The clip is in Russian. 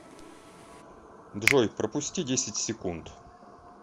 джой пропусти десять секунд